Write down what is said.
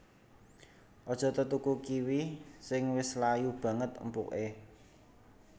Aja tetuku kiwi sing wis layu baget empuké